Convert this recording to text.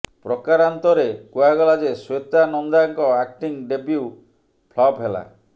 ପ୍ରକାରାନ୍ତରେ କୁହାଗଲା ଯେ ଶ୍ୱେତା ନନ୍ଦାଙ୍କ ଆକ୍ଟିଂ ଡେବ୍ୟୁ ଫ୍ଲପ୍ ହେଲା